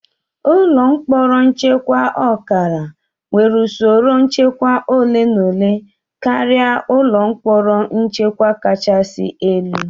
Ụlọ mkpọrọ nchekwa ọkara nwere usoro nchekwa ole na ole karịa ụlọ mkpọrọ nchekwa kachasị elu